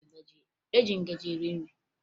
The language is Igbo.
E ji ngaji eri nri